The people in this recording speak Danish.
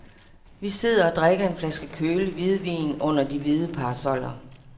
Vi sidder og drikker en flaske kølig hvidvin under de hvide parasoller.